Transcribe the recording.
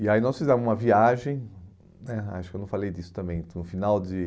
E aí nós fizemos uma viagem né, acho que eu não falei disso também, então no final de